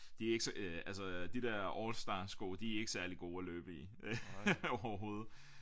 De er ikke så øh altså de dér all star sko de er ikke særlig gode at løbe i øh overhovedet